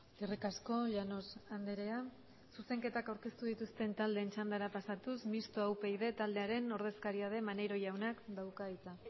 eskerrik asko llanos andrea zuzenketak aurkeztu dituzten taldeen txandara pasatuz mistoa upyd taldearen ordezkaria den maneiro jaunak dauka hitza